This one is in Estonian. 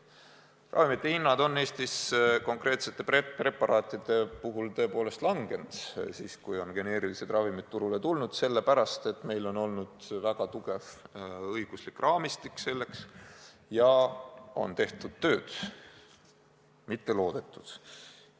Ravimite hinnad on Eestis konkreetsete preparaatide puhul tõepoolest langenud – siis, kui geneerilised ravimid on turule tulnud –, sellepärast, et meil on olnud väga tugev õiguslik raamistik ja on tehtud tööd, mitte loodetud.